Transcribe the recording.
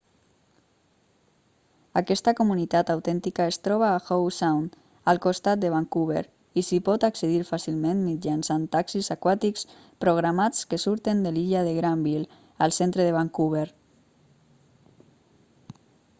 aquesta comunitat autèntica es troba a howe sound al costat de vancouver i s'hi pot accedir fàcilment mitjançant taxis aquàtics programats que surten de l'illa de granville al centre de vancouver